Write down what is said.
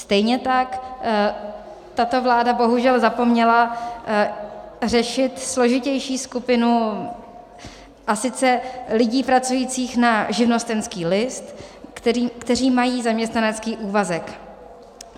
Stejně tak tato vláda bohužel zapomněla řešit složitější skupinu, a sice lidí pracujících na živnostenský list, kteří mají zaměstnanecký úvazek.